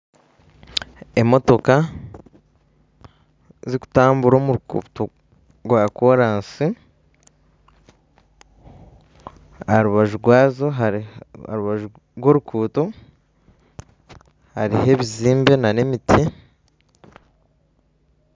Emotoka zikutambura omuruguto rwa korasi aharubaju rw'oruguuto haruho ebizimbe n'emiti .